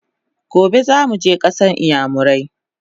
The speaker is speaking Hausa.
Gobe zamuje kasan iyamurai!